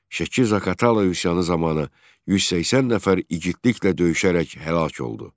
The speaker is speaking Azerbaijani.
Şəki-Zaqatala üsyanı zamanı 180 nəfər iigidliklə döyüşərək həlak oldu.